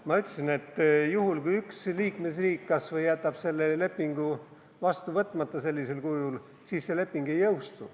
Ma ütlesin, et juhul, kui kas või üks liikmesriik jätab selle lepingu sellisel kujul vastu võtmata, siis leping ei jõustu.